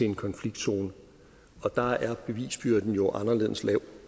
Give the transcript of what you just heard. en konfliktzone og der er bevisbyrden jo anderledes lav